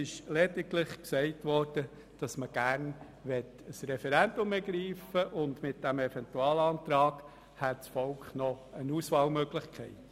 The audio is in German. Es wurde lediglich gesagt, dass man gerne das Referendum ergreifen möchte, und mit diesem Eventualantrag hätte das Volk dann eine Auswahlmöglichkeit.